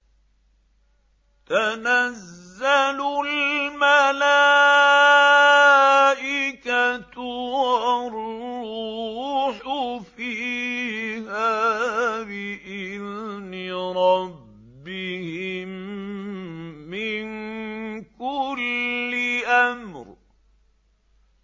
تَنَزَّلُ الْمَلَائِكَةُ وَالرُّوحُ فِيهَا بِإِذْنِ رَبِّهِم مِّن كُلِّ أَمْرٍ